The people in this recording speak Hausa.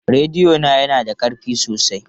Rediyo na yana da ƙarfi sosai.